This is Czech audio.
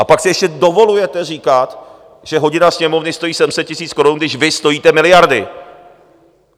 A pak si ještě dovolujete říkat, že hodina Sněmovny stojí 700 000 korun, když vy stojíte miliardy.